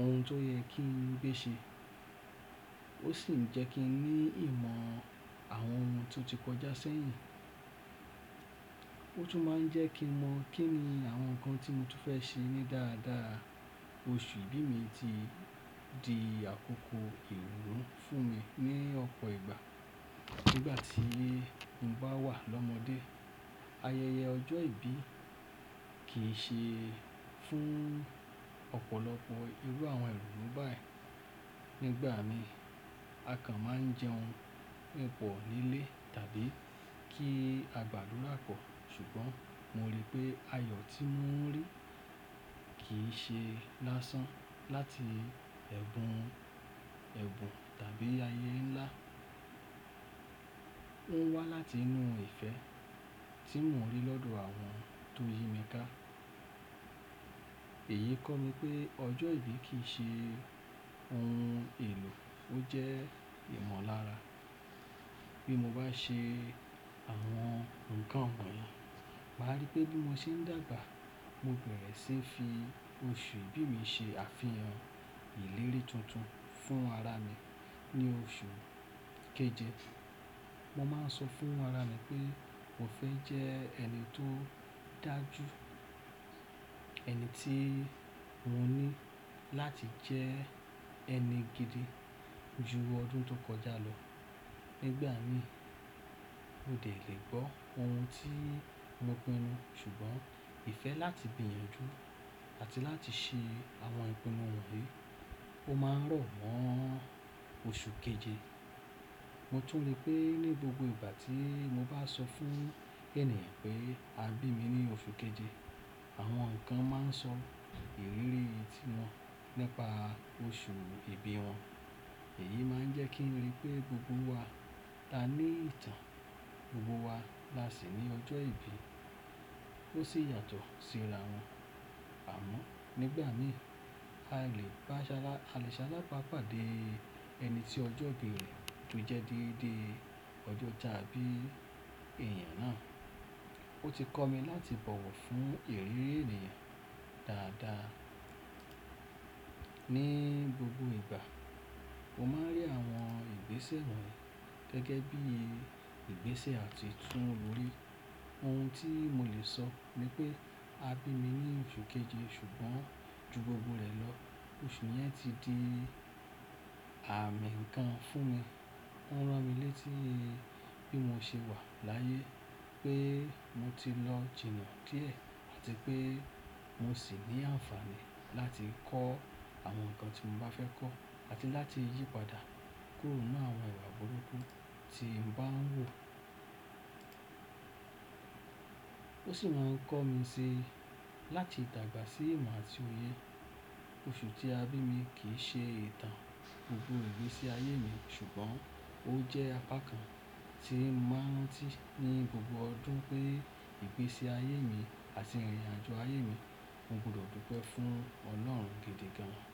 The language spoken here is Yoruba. ohun tó yẹ kí n gbé ṣe, ó sì jẹ́ kí n ní ìmọ̀ àwọn ohun tó ti kọjá ṣẹ́yìn. Ó tún máa ń jẹ́ kí n mọ̀ kí ni àwọn nǹkan tí mo fẹ́ ṣe ní dáadáa. Oṣù ìbí mi ti di àkókò ìronu fún mi ní ọ̀pọ̀ ìgbà. Nígbà tí n bá wà lọ́mọdé, ayẹyẹ ọjọ́ ìbí kì í ṣe fún ọ̀pọ̀lọpọ̀ irú àwọn ironu báyìí. Nígbà mìí, a kan máa ń jẹun pọ̀ nílé tàbí kí a gbàdúrà pọ̀, ṣùgbọ́n mo rí pé ayọ̀ tí woń rí kì í ṣe lásán láti ẹ̀bùn/ẹ̀bùn tàbí ayé ńlá. Ó ń wá láti inú ìfẹ́ tí mo rí lọ́dọ̀ àwọn tó yí mi ká. Èyí kọ́ mi pé ọjọ́ ìbí kì í ṣe ohun èlò, ó jẹ́ ìmọ̀lára. Bí mo bá ṣe àwọn nǹkan wonyii, màá rí pé bí mo ṣe ń dàgbà, mo bẹ̀rẹ̀ sí fi oṣù ìbí mi ṣe àfihàn ìlérí tuntun fún ara mi. Ní oṣù keje, mo máa ń sọ fún ara mi pé mo fẹ́ jẹ́ ẹni tó dájú, ẹni tí mo ní láti jẹ́ ẹni gidi ju ọdún tó kọjá lọ. Nígbà mìí, mo dè lé gbọ́ ohun tí mo pinu, ṣùgbọ́n ìfẹ́ láti gbiyanju dúró àti láti ṣe àwọn ìpinnu wonyi, ó máa ń rọ̀ mo oṣù keje. Mo tún rí pé ní gbogbo ìgbà tí mo bá sọ fún ẹnìyan pé a bí mi ní oṣù keje, àwọn nǹkan máa ń sọ ìrírí tiwọn nípa oṣù ìbí wọn. Èyí máa ń jẹ́ kí n rí pé gbogbo wa la ní ìtàn, gbogbo wa lá sì ní ọjọ́ ìbí, ó sí yàtọ̀ sí ara wọn. Àmọ́ nígbà mìí, a lè ṣalábápá dé ẹni tí ọjọ́ ìbí rẹ̀ tó jẹ́ dede ọjọ́ tàbí èèyàn náà. Ó ti kọ́ mi láti bọ̀wọ̀ fún ìrírí èniyàn dáadáa. Ní gbogbo ìgbà, mo máa ń rí àwọn ìgbésẹ̀ wọ́nyi, gẹ́gẹ́ bí ìgbésẹ̀ àti tún wọlé. Ohun tí mo lè sọ ni pé a bí mi ní oṣù keje, ṣùgbọ́n ju gbogbo rẹ̀ lọ, oṣù yẹn ti di àmì kan fún mi. Ó ń rán mi létí bí mo ṣe wà láyé, pé mo ti lọ̀ jìnnà díẹ̀, àti pé mo sì ní àǹfààní láti kọ́ àwọn nǹkan tí mo bá fẹ́ kọ́, àti láti yí padà kúrò nínú àwọn ìwà burúkú tí n bá ń rò. Ó sì máa ń kọ́ mi síi láti dàgbà sí ìmọ̀ àti òye. Oṣù tí a bí mi kì í ṣe ìtàn gbogbo ìgbésí ayé mi, ṣùgbọ́n ó jẹ́ apá kan tí mo máa ń rantí ni gbogbo ọdún pé ìgbésí ayé mi àti ìrìnnàjo ayé mi, mo gbọdọ̀ dúpẹ́ fún Ọlọ́run gidi gan-an.